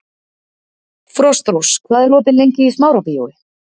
Frostrós, hvað er opið lengi í Smárabíói?